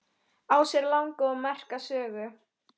Á sér langa og merka sögu.